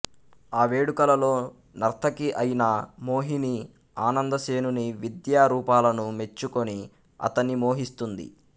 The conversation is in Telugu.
ఆ వేడుకలలో నర్తకి అయిన మోహిని ఆనందసేనుని విద్యా రూపాలను మెచ్చుకొని అతణ్ణి మోహిస్తుంది